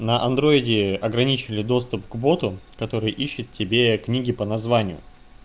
на андроиде ограничили доступ к боту который ищет тебе книги по названию